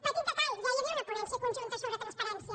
petit detall ja hi havia una ponència conjunta sobre transparència